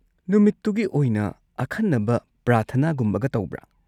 ꯅꯨꯃꯤꯠꯇꯨꯒꯤ ꯑꯣꯏꯅ ꯑꯈꯟꯅꯕ ꯄ꯭ꯔꯥꯔꯊꯅꯥꯒꯨꯝꯕꯒ ꯇꯧꯕ꯭ꯔꯥ?